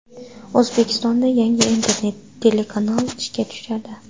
O‘zbekistonda yangi internet telekanal ishga tushadi.